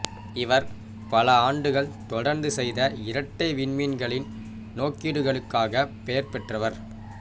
இவர் பல ஆண்டுகள் தொடர்ந்து செய்த இரட்டை விண்மீன்களின் நோக்கிடுகளுக்காகப் பெயர்பெற்றவர்